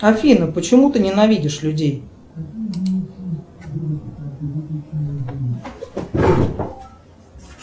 афина почему ты ненавидишь людей